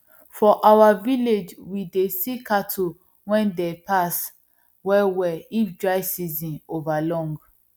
for our village we dey see cattle wen dey pass well well if dry season over long